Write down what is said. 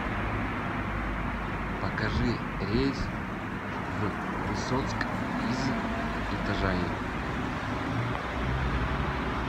покажи рейс в высоцк из итажаи